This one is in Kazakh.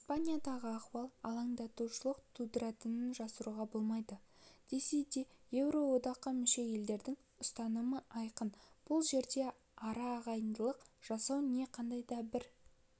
испаниядағы ахуал алаңдаушылық тудыратынын жасыруға болмайды десе де еуроодаққа мүше елдердің ұстанымы айқын бұл жерде ара ағайындық жасау не қандай да бір